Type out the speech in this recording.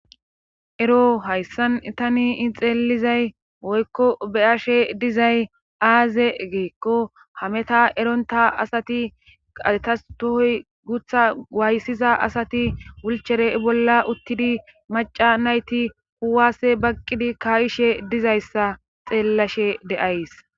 ero hayssan tanii xeelizay woykko beyashe dizay aaze geekko hameta eronta asati qathas tohoy gutha waayssiza asati wulchere bolla uttidi maca nayti kuwase baqqidi kayishe dizayssa xeellashe de'ays